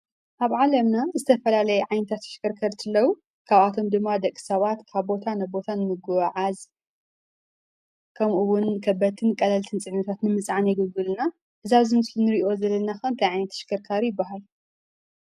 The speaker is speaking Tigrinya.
ኣብ ዓለምና ዝተፈላለዩ ዓይነታት ተሽከርከርቲ ኣለዉ፡፡ ካብኣቶም ድማ ደቂ ሰባት ካብ ቦታ ናብ ቦታ ንምጉዕዓዝ ከምኡ ዉን ከበድትን ቀለልቲን ንምፅዓን የገልግሉና፡፡ እዚ ኣብዚ ምስሊ ንሪኣ ዘለና ከ እንታይ ዓይነት ተሽከርካሪ ይብሃል?